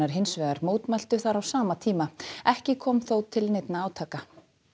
hins vegar mótmæltu þar á sama tíma ekki kom þó til neinna átaka